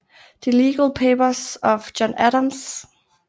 The Legal Papers of John Adams